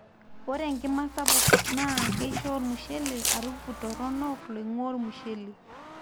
ore enkima sapuk naa keisho olmushele harufu toronok loingua olmushele